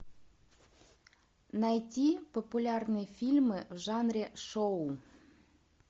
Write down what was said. найти популярные фильмы в жанре шоу